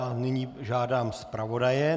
A nyní požádám zpravodaje.